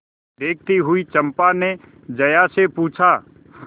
देखती हुई चंपा ने जया से पूछा